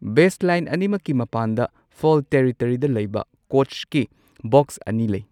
ꯕꯦꯖ line ꯑꯅꯤꯃꯛꯀꯤ ꯃꯄꯥꯟꯗ foul ꯇꯦꯔꯤꯇꯣꯔꯤꯗ ꯂꯩꯕ ꯀꯣꯆꯀꯤ ꯕꯣꯛꯁ ꯑꯅꯤ ꯂꯩ꯫